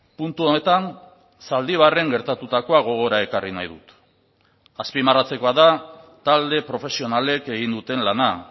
puntu honetan zaldibarren gertatutakoa gogora ekarri nahi dut azpimarratzekoa da talde profesionalek egin duten lana